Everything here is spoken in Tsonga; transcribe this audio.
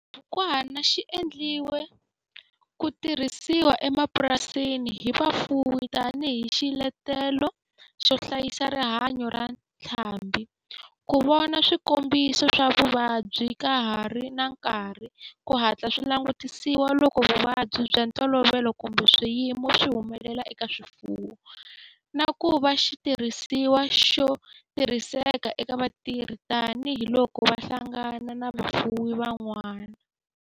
Xibukwana xi endliwe ku tirhisiwa emapurasini hi vafuwi tani hi xiletelo xo hlayisa rihanyo ra ntlhambhi, ku vona swikombiso swa vuvabyi ka ha ri na nkarhi ku hatla swi langutisiwa loko vuvabyi bya ntolovelo kumbe swiyimo swi humelela eka swifuwo, na ku va xitirhisiwa xo tirhiseka eka vatirhi tani hi loko va hlangana na vafuwi van'wana.